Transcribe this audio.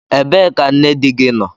Ebee ka nne di gị nọ?